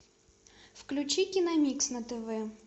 включи киномикс на тв